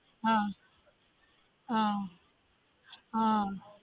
ஆஹ் ஆஹ் ஆஹ்